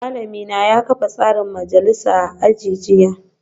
Malamina ya kafa tsarin majalisa a aji jiya